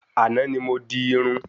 Àná ni mo di Irun